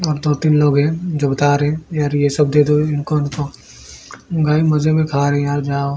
और दो तीन लोग हैं जो है--